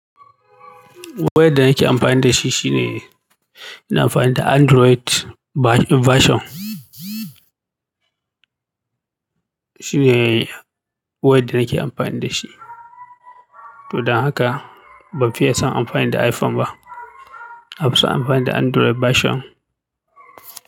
Wayadda da nake amfani dashi shine ina amfani fa android version shine wayadda nake amfani da shi. To don haka ban fiye son amfani da iPhone ba. Nafison amfani da android version.